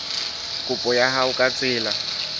kopo ya hao ka tsela